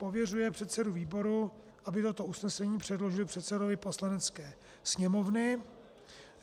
Pověřuje předsedu výboru, aby toto usnesení předložil předsedovi Poslanecké sněmovny.